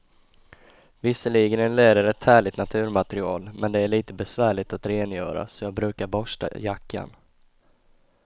Visserligen är läder ett härligt naturmaterial, men det är lite besvärligt att rengöra, så jag brukar borsta jackan.